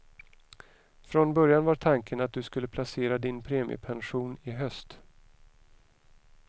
Från början var tanken att du skulle placera din premiepension i höst.